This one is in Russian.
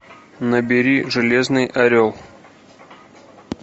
набери железный орел